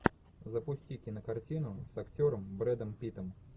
запусти кинокартину с актером брэдом питтом